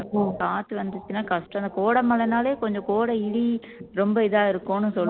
காத்து வந்துச்சுன்னா கஷ்டம் இந்த கோடை மழைனாலே கொஞ்சம் கோடை இடி ரொம்ப இதா இருக்கும்னு சொல்